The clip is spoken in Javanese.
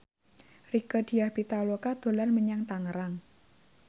Rieke Diah Pitaloka dolan menyang Tangerang